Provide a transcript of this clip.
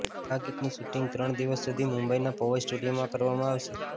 આ ગીતનું શૂટિંગ ત્રણ દિવસ સુધી મુંબઇના પવઇ સ્ટુડિયોમાં કરવામાં આવશે